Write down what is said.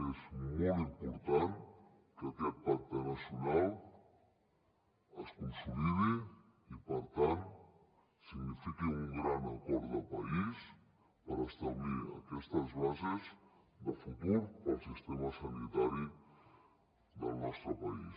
és molt important que aquest pacte nacional es consolidi i per tant signifiqui un gran acord de país per establir aquestes bases de futur per al sistema sanitari del nostre país